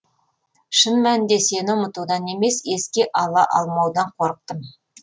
шын мәнінде сені ұмытудан емес еске ала алмаудан қорықтым